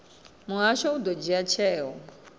muhasho u ḓo dzhia tsheo